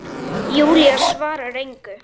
Júlía svarar engu.